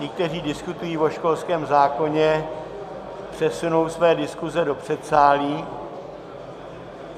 Ti, kteří diskutují o školském zákoně, přesunou své diskuze do předsálí.